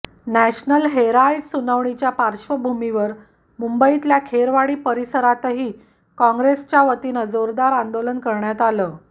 national Herald सुनावणीच्या पार्श्वभूमीवर मुंबईतल्या खेरवाडी परिसरातही काँग्रेसच्यावतीनं जोरदार आंदोलन करण्यात आलं